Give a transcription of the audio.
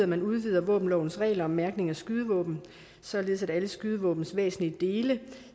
man udvider våbenlovens regler om mærkning af skydevåben således at alle skydevåbnets væsentlige dele